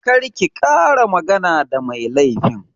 Kar ki ƙara magana da mai laifin!